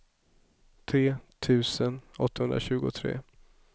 tre tusen åttahundratjugotre